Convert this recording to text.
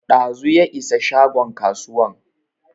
Ɗazu ya isa shagon kasuwan